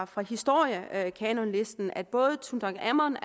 fra historiekanonlisten at både tutankhamon